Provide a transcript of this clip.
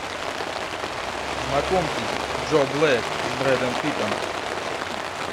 знакомьтесь джо блэк с брэдом питтом